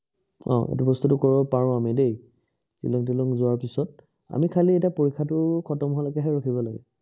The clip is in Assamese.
আহ এইটো বস্তুটো কৰিব পাৰো আমি দেই, শ্বিলং তিলং যোৱাৰ পিছত, আমি খালি এতিয়া পৰীক্ষাটো খতম হোৱা লৈকেহে ৰখিব লাগিব।